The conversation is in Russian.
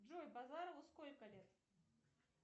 джой базарову сколько лет